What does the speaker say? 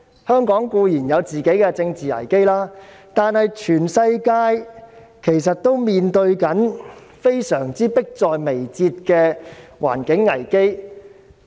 香港固然有自己的政治危機，但全世界其實面對迫在眉睫的環境危機。